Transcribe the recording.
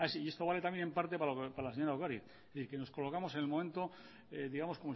y esto vale también en parte para la señora ocariz que nos colocamos en el momento digamos